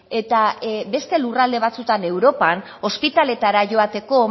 eta beste lurralde batzuetan europan ospitaletara joateko